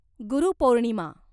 गुरू पौर्णिमा